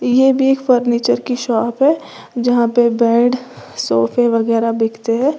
ये भी एक फर्नीचर की एक शॉप है जहां पे बेड सोफे वगैरह बिकते है।